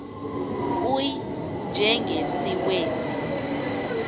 u y njengesiwezi